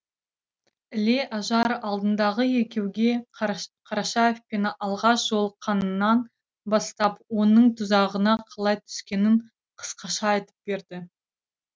іле ажар алдындағы екеуге қарашаевпен алғаш жолыққанынан бастап оның тұзағына қалай түскенін қысқаша айтып берді